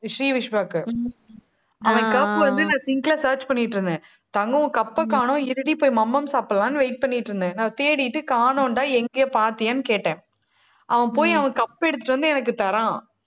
ஸ்ரீவிஷ்வாக்கு அவன் cup வந்து, நான் sink ல search பண்ணிட்டு இருந்தேன் தங்கம், cup அ காணோம், இருடி போய் மம்மம் சாப்பிடலான்னு wait பண்ணிட்டு இருந்தேன். நான் தேடிட்டு காணோன்டா எங்கயோ பாத்தியான்னு கேட்டேன். அவன் போய் அவன் cup எடுத்துட்டு வந்து எனக்கு தர்றான்